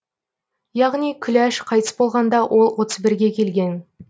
яғни күләш қайтыс болғанда ол отыз бірге келген